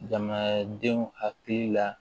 Jamanadenw hakili la